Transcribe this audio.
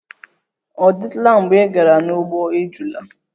Ọ dịtụla mgbe ị gara n'ugbo ejula?